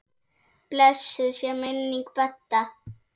Blessuð sé minning Bedda.